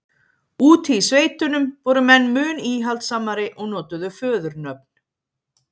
úti í sveitunum voru menn mun íhaldssamari og notuðu föðurnöfn